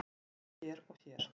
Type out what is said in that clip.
Sjá hér og hér.